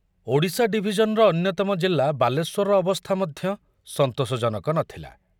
ଓଡ଼ିଶା ଡିଭିଜନର ଅନ୍ୟତମ ଜିଲ୍ଲା ବାଲେଶ୍ୱରର ଅବସ୍ଥା ମଧ୍ୟ ସନ୍ତୋଷଜନକ ନଥିଲା।